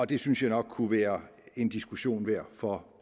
det synes jeg nok kunne være en diskussion værd for